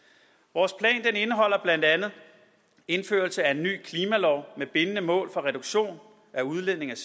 vores plan indeholder blandt andet indførelse af en ny klimalov med bindende mål for reduktion af udledningen